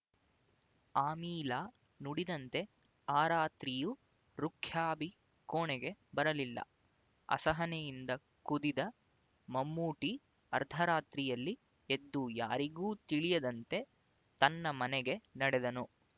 ಆಮೀಲಾ ನುಡಿದಂತೆ ಆ ರಾತ್ರಿಯೂ ರುಖ್ಯಾಬಿ ಕೋಣೆಗೆ ಬರಲಿಲ್ಲ ಅಸಹನೆಯಿಂದ ಕುದಿದ ಮಮ್ಮೂಟಿ ಅರ್ಧರಾತ್ರಿಯಲ್ಲಿ ಎದ್ದು ಯಾರಿಗೂ ತಿಳಿಯದಂತೆ ತನ್ನ ಮನೆಗೆ ನಡೆದನು